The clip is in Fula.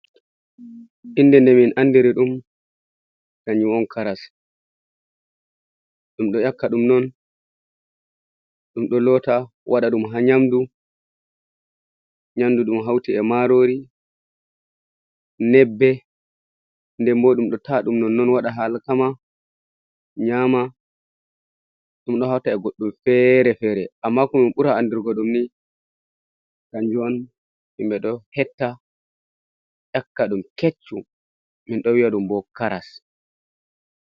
Innde nde min andiri ɗum hanju on karas minɗo yakkaɗum non ɗum ɗo lota waɗa ɗum ha nyamdu nyamdu ɗum hauti e marori nƴebbe.,nden bo ɗum ɗo ta'aɗum non waɗa alkama nyama ɗum ɗo hauta e goɗɗum fere-fere amma ko min ɓura andirgo ɗum ni kanjum on himɓe ɗo hetta yakka ɗum keccum min ɗo wi'a ɗum bo karas.